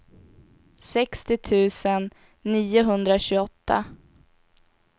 sextio tusen niohundratjugoåtta